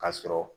Ka sɔrɔ